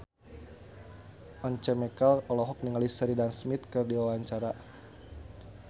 Once Mekel olohok ningali Sheridan Smith keur diwawancara